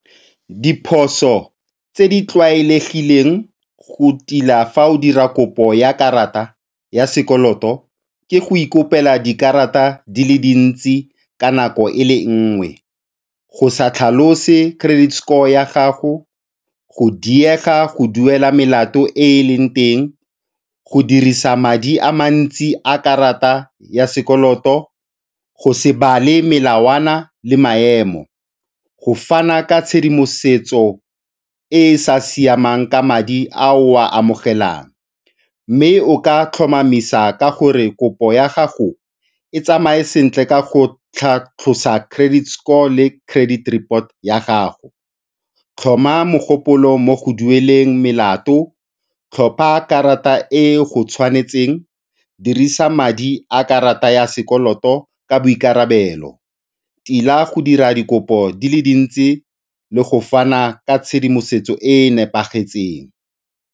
Diphoso tse di tlwaelegileng go tila fa o dira kopo ya karata ya sekoloto ke go ikopela dikarata di le di ntsi ka nako e le nngwe, go sa tlhalose credit score ya gago, go diega go duela melato e eleng teng, go dirisa madi a mantsi a karata ya sekoloto, go se bale melawana le maemo, go fana ka tshedimosetso e e sa siamang ka madi a o a amogelang mme o ka tlhomamisa ka gore kopo ya gago e tsamaye sentle ka go tlhatlhosa credit score le credit report ya gago. Tlhoma mogopolo mo go dueleng melato, tlhopha karata e e go tshwanetseng, dirisa madi a karata ya sekoloto ka boikarabelo, tila go dira dikopo di le dintsi le go fana ka tshedimosetso e e nepagetseng.